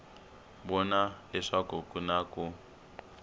vona leswaku ku na ku